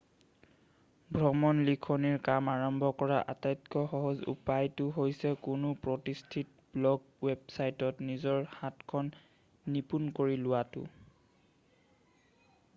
ভ্ৰমণ লিখনিৰ কাম আৰম্ভ কৰাৰ আটাইতকৈ সহজ উপায়টো হৈছে কোনো প্ৰতিষ্ঠিত ব্লগ ৱেবচাইটত নিজৰ হাতখন নিপুন কৰি লোৱাটো